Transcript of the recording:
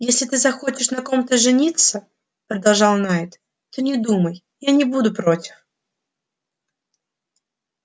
если ты захочешь на ком-то жениться продолжал найд то не думай я не буду против